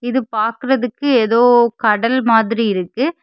இது பாக்குறதுக்கு ஏதோ கடல் மாதிரி இருக்கு.